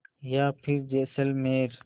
या फिर जैसलमेर